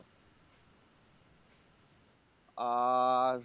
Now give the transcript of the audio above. আর